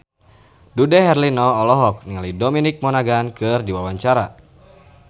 Dude Herlino olohok ningali Dominic Monaghan keur diwawancara